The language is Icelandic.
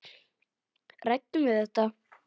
Ræddu þið þetta?